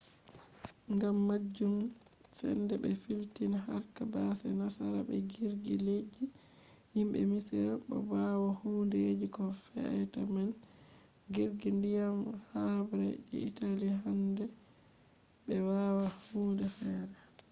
gam majum sende be filti harka base nasara be jirgi leddi je himbe misira. bo bawo hundeji ko feata man jirgi ndiyam habre je italy handai be wada hunde fere